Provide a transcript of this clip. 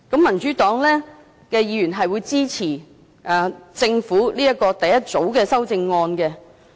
民主黨議員會支持政府第一組修正案。